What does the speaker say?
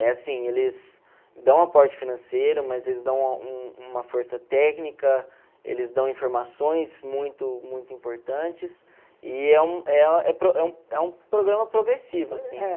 É assim, eles dão aporte financeiro, mas eles dão uma força técnica, eles dão informações muito muito importantes e é um programa progressivo, assim.